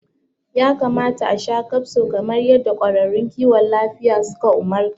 Ya kamata asha kafso kamar yadda ƙwararrun kiwon lafiya suka umarta